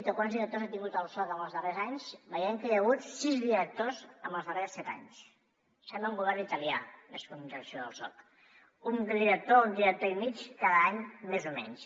o quants directors ha tingut el soc en els darrers anys veiem que hi ha hagut sis directors en els darrers set anys sembla un govern italià més que la direcció del soc un director o un director i mig cada any més o menys